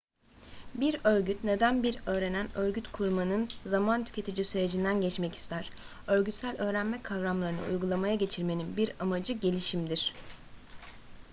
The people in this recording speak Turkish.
bir örgüt neden bir öğrenen örgüt kurmanın zaman tüketici sürecinden geçmek ister örgütsel öğrenme kavramlarını uygulamaya geçirmenin bir amacı gelişimdir